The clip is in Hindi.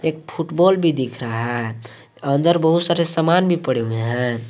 एक फुटबॉल भी दिख रहा है अंदर बहुत सारे सामान भी पड़े हुए हैं।